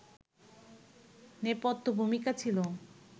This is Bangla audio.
নেপথ্য-ভূমিকা ছিল